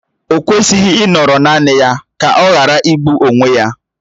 O kwesịghị ịnọrọ naanị ya ka ọ ghara igbụ onwe ya